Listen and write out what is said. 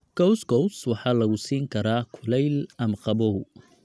Couscous waxaa lagu siin karaa kulayl ama qabow.